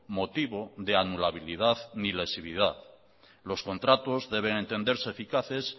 motivo de anulabilidad ni lesividad los contratos deben entenderse eficaces